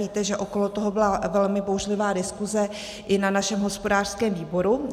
Víte, že okolo toho byla velmi bouřlivá diskuse i na našem hospodářském výboru.